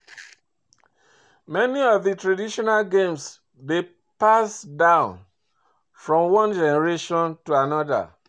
Many of di traditional games dey passed down from one generation to anoda